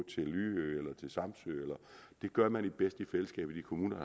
til lyø eller samsø det gør man bedst i fællesskab i de kommuner